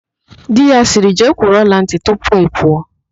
Di ya sịrị, "jee kwụrụ ọlantị tupu ị pụọ"!